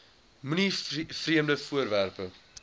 moenie vreemde voorwerpe